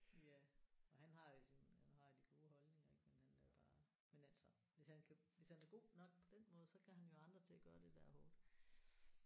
Ja og han har jo sine han har de gode holdninger ik men han er jo bare. Men altså hvis han kan hvis han er god nok på den måde så kan han jo have andre til at gøre det der er hårdt